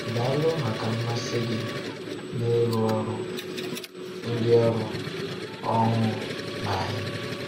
Daalụ maka mmasị gị n’ịrụ ọrụ ndị ọrụ ọhụụ na anyị.